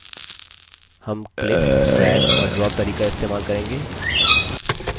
हम click drag और drop तरीका इस्तेमाल करेंगे